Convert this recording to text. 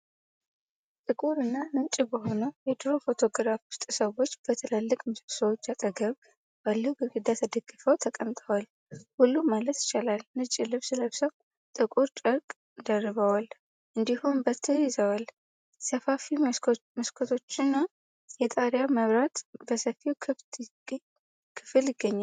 ጥቁር እና ነጭ በሆነው የድሮ ፎቶግራፍ ውስጥ፣ ሰዎች በትላልቅ ምሰሶዎች አጠገብ ባለው ግድግዳ ተደግፈው ተቀምጠዋል። ሁሉም ማለት ይቻላል ነጭ ልብስ ለብሰው ጥቁር ጨርቅ ደርበዋል፤ እንዲሁም በትር ይዘዋል። ሰፋፊ መስኮቶችና የጣሪያ መብራት በሰፊው ክፍል ይገኛሉ።